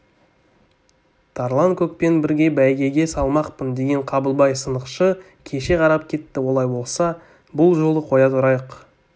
тарланкөкпен бірге бәйгеге салмақпын деген қабылбай сынықшы кеше қарап кетті олай болса бұл жолы қоя тұрайық